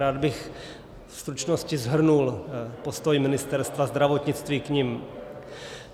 Rád bych ve stručnosti shrnul postoj Ministerstva zdravotnictví k nim.